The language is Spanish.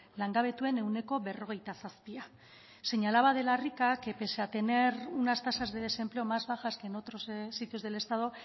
langabetuen ehuneko berrogeita zazpia señalaba de la rica que pese a tener unas tasas de desempleo más bajas que en otros sitios del estado